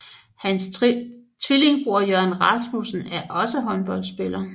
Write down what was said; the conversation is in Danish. Hans tvillingebror Jørgen Rasmussen er også håndboldspiller